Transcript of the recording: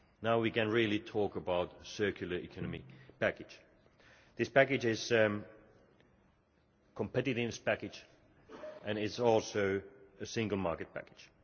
Now we can really talk about the Circular Economy Package. This package is a competitive package and it is also a single market package.